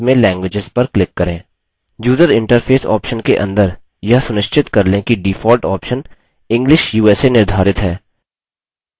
user interface option के अंदर यह सुनिश्चित कर लें कि default option english usa निर्धारित है